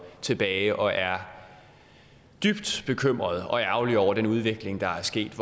tilbage og er dybt bekymrede og ærgerlige over den udvikling der er sket